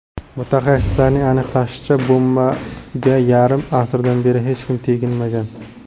Mutaxassislarning aniqlashicha, bombaga yarim asrdan beri hech kim teginmagan.